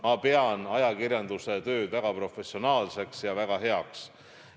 Ma pean ajakirjanduse tööd väga professionaalseks ja väga heaks.